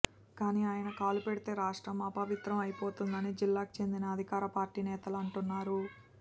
కానీ ఆయన కాలు పెడితే రాష్ట్రం అపవిత్రం అయిపోతుందని జిల్లాకి చెందిన అధికార పార్టీ నేతలు అంటున్నారు